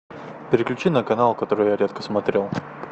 переключи на канал который я редко смотрю